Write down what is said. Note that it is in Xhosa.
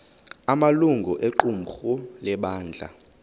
amalungu equmrhu lebandla